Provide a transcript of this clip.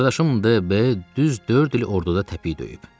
Qardaşım D.B. düz dörd il orduda təpik döyüb.